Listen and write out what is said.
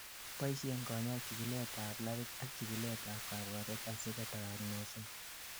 boishen kanyoik chikilet ab labit ak chikilet ab kabwatet asiko doagnosen